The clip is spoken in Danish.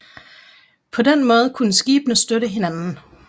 På den måde kunne skibene støtte hinanden